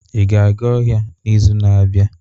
Ị ga-aga ọhịa n'izu na-abịa?